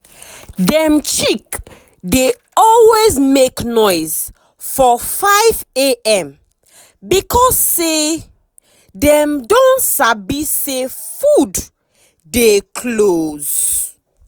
dem chick dey always make noise for 5am because um dem don sabi say food dey close.